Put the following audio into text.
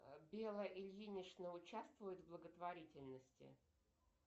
белла ильинична участвует в благотворительности